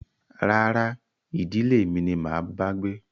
Rárá, ìdílé mi ni máa bá gbé